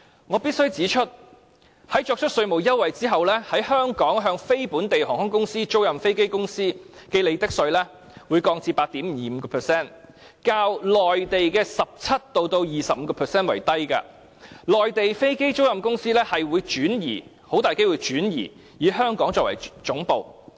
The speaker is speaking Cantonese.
我必須指出，在作出稅務優惠之後，香港向非本地航空公司、租賃飛機公司徵收的利得稅將會降至 8.25%， 較內地的 17% 至 25% 為低，內地的飛機租賃公司很可能會轉移以香港作為總部。